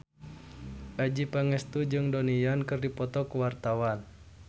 Adjie Pangestu jeung Donnie Yan keur dipoto ku wartawan